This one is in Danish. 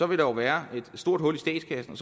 vil der være et stort hul i statskassen